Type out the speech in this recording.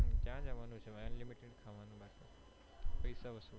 ક્યાં જવાનું છે unlimited ખાવાનું બાકી પૈસા વસુલ